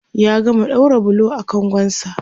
ya gama ɗaura bulo a kangon sa